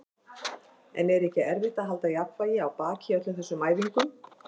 En er ekki erfitt að halda jafnvægi á baki í öllum þessum æfingum?